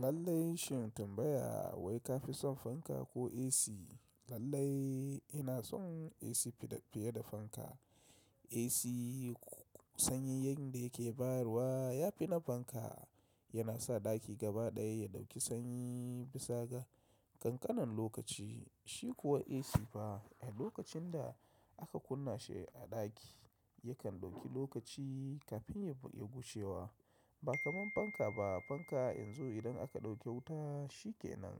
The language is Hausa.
Lallai shin tambaya wai ka fi son fanka ko AC? Lallai ina son AC fiye da fanka. AC sanyin yadda yake bayarwa ya fi na fanka, yana sa ɗaki gaba ɗaya ya ɗauki sanyi bisa ga kankanin lokaci. Shi kuwa AC fa a lokacin da aka kunna shi a ɗaki yakan ɗauki lokaci kafin ya ƙuge wa. Ba kamar fanka ba, fanka in zo idan aka ɗauke wuta shi kenan.